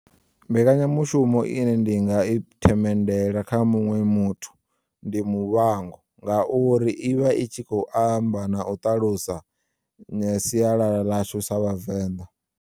Mbekanyamushumo ine ndi nga i themendela kha muṅwe muthu ndi muvhango ngauri ivha i tshi khou amba na u ṱalusa siyalala ḽashu sa vhavenḓa.